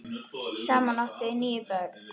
Saman áttu þau níu börn.